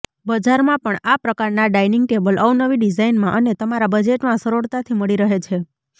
બજારમાં પણ આ પ્રકારનાં ડાઈનિંગ ટેબલ અવનવી ડિઝાઈનમાં અને તમારા બજેટમાં સરળતાથી મળી રહે છે